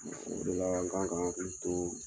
O de la an kan ka an hakili to